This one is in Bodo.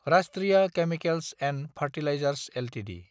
राष्ट्रीय केमिकेल्स & फार्टिलाइजार्स एलटिडि